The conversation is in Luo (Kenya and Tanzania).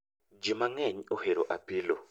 Jii mang'eny ohero apilo